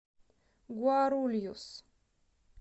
гуарульюс